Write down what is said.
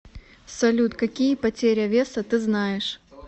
салют какие потеря веса ты знаешь